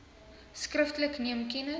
skriftelik neem kennis